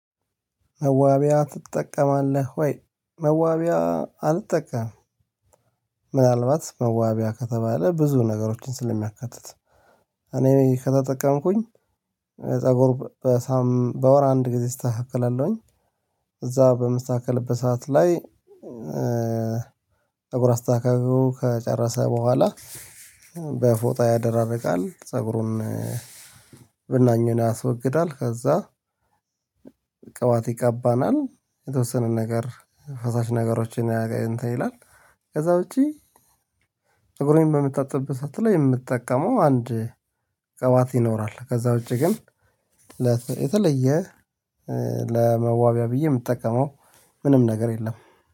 መዋቢያ ትጠቀማለህ ወይ? መዋቢያ አልጠቀም። ምናልባት መዋቢያ ከተባለ ብዙ ነገሮችን ስለሚያካትት እኔ ከተጠቀምኩኝ ፀጉር በወር አንድ ጊዜ እስተካከላለሁኝ። እዛ በመስተካከል በሰአት ላይ ፀጉር አስተካከሉ ከጨረሰ በኋላ በፎጣ ያደራርቃል ፀጉሩን። ብናኙን ያስወግዳል ከዛ ቅባት ይቀባናል የተወሰነ ነገር ፈሳሽ ነገሮችን እንትን ይላል። ከዛ ውጪ ፀጉሬን በምታጥብበት ሳትል የምትጠቀመው አንድ ቀባት ይኖራል። ከዛ ውጪ ግን የተለየ ለመዋቢያ ብዬ የምጠቀመው ምንም ነገር የለም